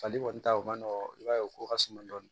Fali kɔni ta o man nɔgɔ i b'a ye o ko ka suma dɔɔni